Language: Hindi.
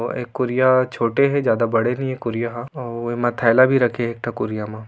ओ ए कुरिया छोटे हे ज्यादा बड़े नइये कुरिया हा आ उए मा थैला भी रखे हे एक ठ कुरिया मा।